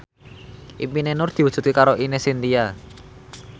impine Nur diwujudke karo Ine Shintya